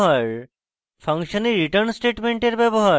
function a return স্টেটমেন্টের ব্যবহার